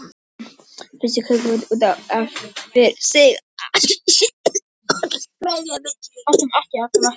Sviss er kapítuli út af fyrir sig.